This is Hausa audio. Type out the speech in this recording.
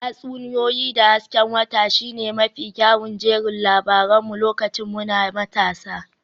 Tatsuniyoyi da hasken wata shine mafi kyawun jerin labaran mu lokacin muna matasa